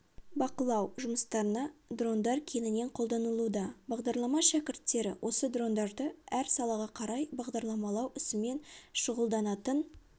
бақылау жұмыстарына дрондар кеңінен қолданылуда бағдарлама шәкірттері осы дрондарды әр салаға қарай бағдарламалау ісімен шұғылданатын